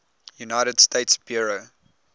united states bureau